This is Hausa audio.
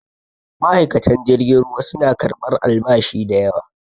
ma'aikatan jirgin ruwa suna karɓar albashi da yawa